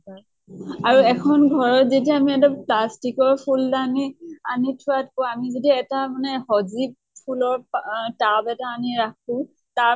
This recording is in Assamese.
আৰু এখন ঘৰত যেতিয়া আমি এটা plastic ৰ ফুল্দানি আনি থোৱাকৈ আমি যদি এটা মানে স্জীৱ ফুলৰ আহ tub এটা আনি ৰাখো, তাৰ